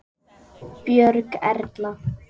Björg Erla.